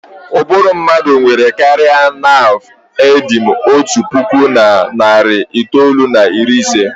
Ụbụrụ mmadụ nwere karịa naav endin otu puku na narị itoolu na iri ise.